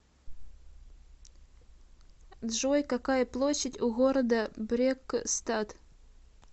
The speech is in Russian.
джой какая площадь у города брекстад